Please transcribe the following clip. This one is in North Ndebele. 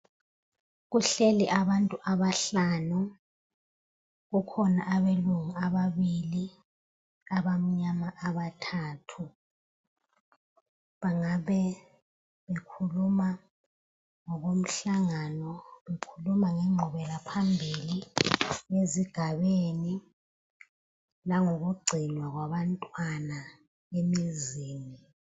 Kuhleli abantu abahlanu. Kukhona abelungu ababili, abamnyama abathathu. Bangab bekhuluma ngokomhlangano, bekhuluma ngengqubela phambili yezigabeni langokugcinwa kwabantwana emizini.